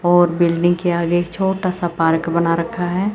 और बिल्डिंग के आगे छोटासा पार्क बना रखा हैं।